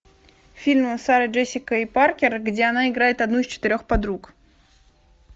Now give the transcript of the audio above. фильм с сарой джессикой паркер где она играет одну из четырех подруг